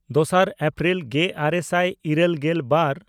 ᱫᱚᱥᱟᱨ ᱮᱯᱨᱤᱞ ᱜᱮᱼᱟᱨᱮ ᱥᱟᱭ ᱤᱨᱟᱹᱞᱜᱮᱞ ᱵᱟᱨ